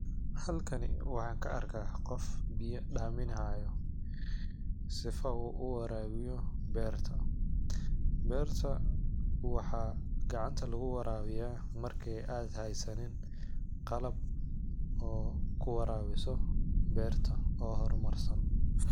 Halkani waxan kaa arka qoof biya daminaya, sifa uu uwarabiyo berta, berta waxa gacanta lagu warabiya marka ad haysanin qalab oo kuwarabiso berta oo hormarsan.